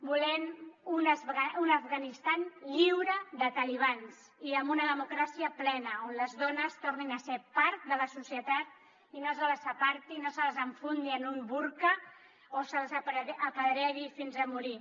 volem un afganistan lliure de talibans i amb una democràcia plena on les dones tornin a ser part de la societat i no se les aparti no se les enfundi en un burca o se les apedregui fins a morir